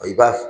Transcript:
I b'a